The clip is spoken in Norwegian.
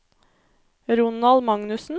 Ronald Magnussen